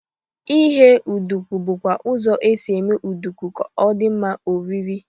Ighe nduku bụkwa ụzọ e si eme nduku ka ọ dị mma oriri.